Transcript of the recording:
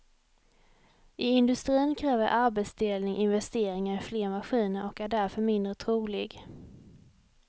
I industrin kräver arbetsdelning investeringar i fler maskiner och är därför mindre trolig.